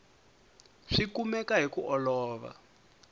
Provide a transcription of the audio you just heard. swi kumeka hi ku olova